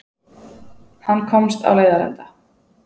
Hann komst á leiðarenda.